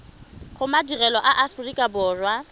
go madirelo a aforika borwa